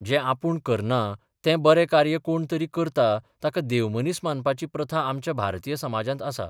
जें आपूण करना तें बरें कार्य कोण तरी करता ताका देवमनीस मानपाची प्रथा आमच्या भारतीय समाजांत आसा.